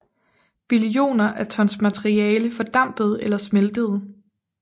Billioner af tons materiale fordampede eller smeltede